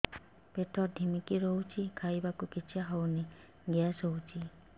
ପେଟ ଢିମିକି ରହୁଛି ଖାଇବାକୁ ଇଛା ହଉନି ଗ୍ୟାସ ହଉଚି